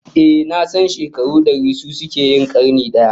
Ehh, nasan shekaru dari su suke yin karni daya